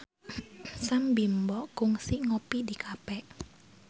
Sam Bimbo kungsi ngopi di cafe